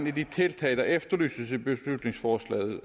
er de tiltag der efterlyses i beslutningsforslaget